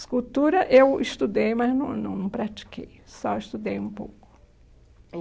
Escultura eu estudei, mas não não pratiquei, só estudei um pouco.